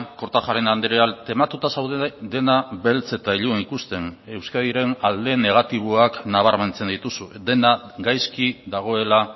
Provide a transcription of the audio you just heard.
kortajarena andrea tematuta zaude dena beltz eta ilun ikusten euskadiren alde negatiboak nabarmentzen dituzu dena gaizki dagoela